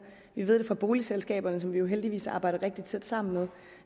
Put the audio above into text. vi ved det fra boligselskaberne som vi jo heldigvis arbejder rigtig tæt sammen med